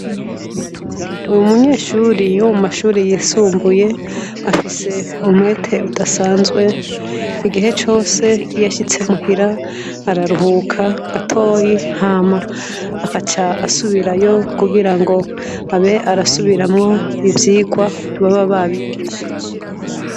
Uwo munyeshure wo mu mashure yisumbuye afise umwete udasanzwe. Igihe cose iyo ashitse muhira, araruhuka gatoyi hama akaca asubirayo kugirango abe arasubiramwo ivyigwa baba babigishije.